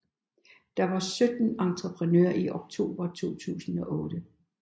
Der var 17 entreprenører i oktober 2008